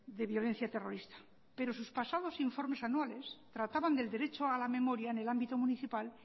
de violencia terrorista pero sus pasados informes anuales trataban del derecho a la memoria en el ámbito municipal